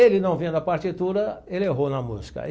Ele não vendo a partitura, ele errou na música.